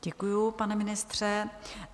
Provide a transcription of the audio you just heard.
Děkuju, pane ministře.